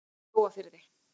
Mjóafirði